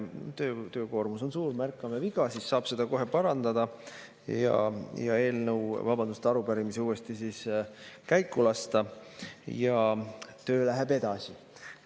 Töökoormus on suur, aga kui märkame viga, siis saab seda kohe parandada, arupärimise uuesti käiku lasta ja töö läheb edasi.